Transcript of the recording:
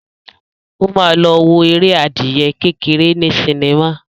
Ó ma lọ wo eré adìyẹ kékeré ní sinimá.